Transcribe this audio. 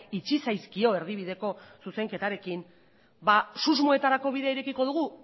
itxi zaizkio erdibideko zuzenketarekin susmoetarako bidea irekiko dugu